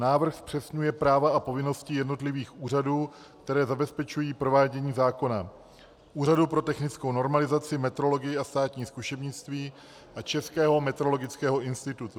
Návrh zpřesňuje práva a povinnosti jednotlivých úřadů, které zabezpečují provádění zákona, Úřadu pro technickou normalizaci, metrologii a státní zkušebnictví a Českého metrologického institutu.